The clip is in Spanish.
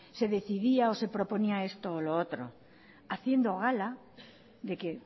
se decía o se proponía esto o lo otro haciendo gala de que